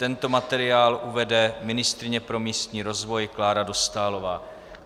Tento materiál uvede ministryně pro místní rozvoj Klára Dostálová.